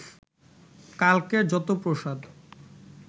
কালকের যত প্রসাদ